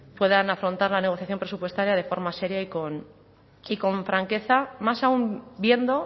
puedan afrontar la negociación presupuestaria de forma seria y con franqueza más aun viendo